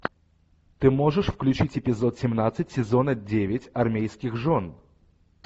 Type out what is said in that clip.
ты можешь включить эпизод семнадцать сезона девять армейских жен